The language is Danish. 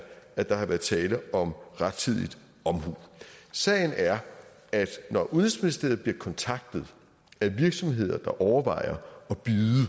at der har været tale om rettidig omhu sagen er at når udenrigsministeriet bliver kontaktet af virksomheder der overvejer